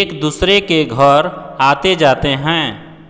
एकदूसरे के घर आतेजाते हैं